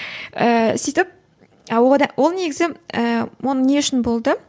ііі сөйтіп ол негізі ііі ол не үшін болды